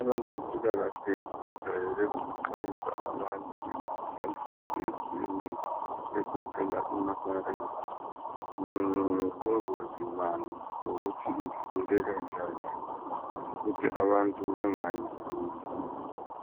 Abezempilakahle bajayele ukuxwayisa abantu ngemikhuhlane etshiyetshiyeneyo egoqela imalaria ngobungozi bayo lokuthi ivikeleka njani ukuthi abantu bengayiguli,